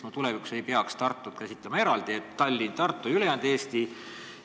Kas me ei peaks tulevikus käsitlema Tartut eraldi, nii et on Tallinn, Tartu ja ülejäänud Eesti?